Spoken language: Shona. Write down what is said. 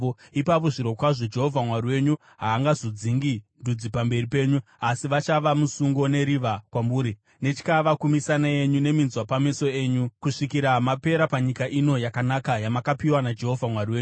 ipapo zvirokwazvo Jehovha Mwari wenyu haangazodzingi ndudzi pamberi penyu. Asi vachava musungo neriva kwamuri, netyava kumisana yenyu neminzwa pameso enyu, kusvikira mapera panyika ino yakanaka, yamakapiwa naJehovha Mwari wenyu.